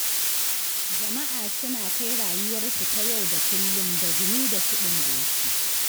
Jama'a suna kai rayuwarsu ta yau-da-kullum da gumi da siɗin goshi.